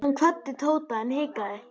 Hann kvaddi Tóta en hikaði.